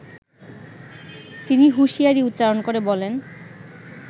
তিনি হুশিয়ারী উচ্চারন করে বলেন